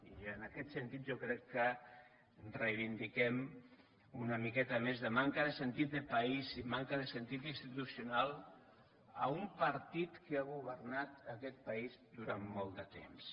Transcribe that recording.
i en aquest sentit jo crec que reivindiquem una miqueta més de manca de sentit de país i manca de sentit institucional a un partit que ha governat aquest país durant molt de temps